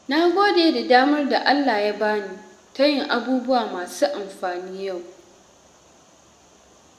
Na gode da damar da Allah ya bani ta yin abubuwa masu amfani yau.